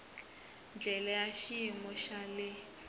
ndlela ya xiyimo xa le